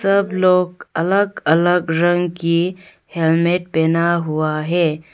सब लोग अलग अलग रंग की हेलमेट पहना हुआ है।